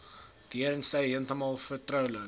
deurentyd heeltemal vertroulik